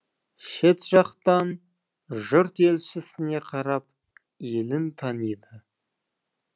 шет жатқан жұрт елшісіне қарап елін таниды